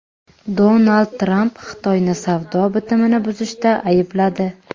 Donald Tramp Xitoyni savdo bitimini buzishda aybladi.